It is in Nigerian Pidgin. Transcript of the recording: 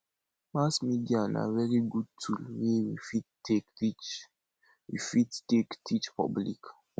mass media na very good tool wey we fit take teach fit take teach public